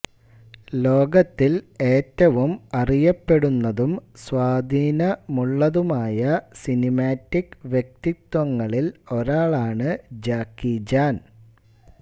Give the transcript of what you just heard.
ലോകത്തിൽ ഏറ്റവും അറിയപ്പെടുന്നതും സ്വാധീനമുള്ളതുമായ സിനിമാറ്റിക് വ്യക്തിത്വങ്ങളിൽ ഒരാളാണ് ജാക്കി ചാൻ